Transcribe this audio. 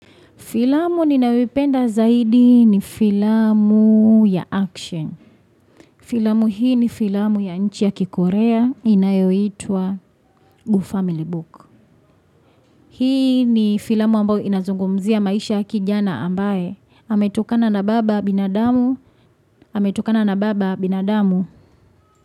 Filamu ninayoipenda zaidi ni filamu ya action. Filamu hii ni filamu ya nchi ya kikorea inayoitwa Gu Family Book. Hii ni filamu ambayo inazungumzia maisha kijana ambaye. Ametokana na baba binadamu. Hame tukana na baba binadamu.